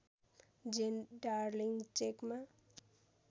जेन darling चेकमा